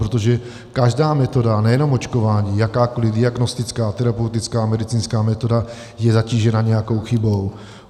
Protože každá metoda, nejenom očkování, jakákoliv diagnostická, terapeutická, medicínská, metoda, je zatížena nějakou chybou.